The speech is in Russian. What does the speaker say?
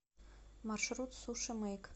маршрут суши мэйк